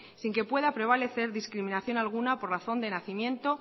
sin que pueda prevalecer discriminación alguna por razón de nacimiento